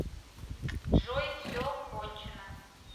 джой все кончено